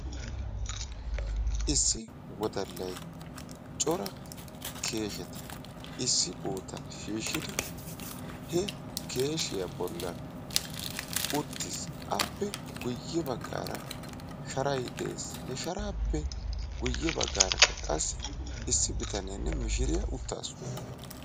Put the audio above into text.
Issi wodallay cora keeshsheta issi bootan wottidi he keesheya bollan uttis. Appe guye bagaara qassi sharay de'ees. Ha sharaappe guye bagaarakka qassi issi bitaneene mishiriya utaasu.